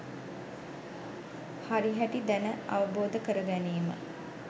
හරිහැටි දැන අවබෝධ කර ගැනීම